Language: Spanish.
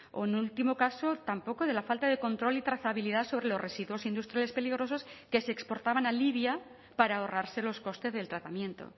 o en último caso tampoco de la falta de control y trazabilidad sobre los residuos industriales peligrosos que se exportaban a libia para ahorrarse los costes del tratamiento